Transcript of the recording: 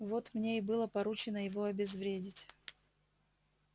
вот мне и было поручено его обезвредить